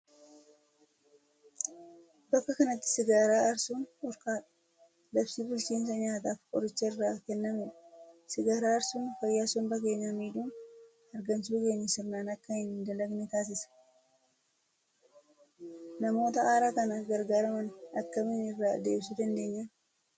Bakka kanatti sigaaraa aarsuun dhorkaadha! Labsii bulchiinsa nyaataa fi qorichaa irraa kennamedha. Sigaaraa aarsuun fayyaa somba keenyaa miidhuun hargansuun keenya sirnaan akka hin dalagne taasisa. Namoota aara kana gargaaraman akkamiin irraa deebisuu dandeenya?